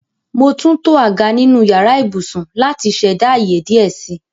Mo túntọ̀ àgá nínu ìyàrà ìbùṣún láti ṣẹda ayé díẹ̀ sí.